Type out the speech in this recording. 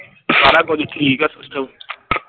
ਸਾਰਾ ਕੁਝ ਠੀਕ ਆ system